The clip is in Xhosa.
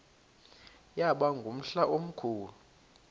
yaba ngumhla omkhulu